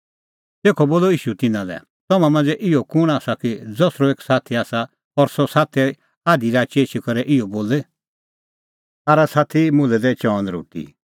तेखअ बोलअ ईशू तिन्नां लै तम्हां मांझ़ै इहअ कुंण आसा कि ज़सरअ एक साथी आसा और सह आधी राची एछी करै इहअ बोले आरा साथी मुल्है दै चअन रोटी